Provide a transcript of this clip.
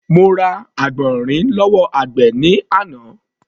Mo ra àgbọ̀nrìn lọ́wọ́ àgbẹ̀ ní àná.